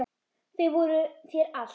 Þau voru þér allt.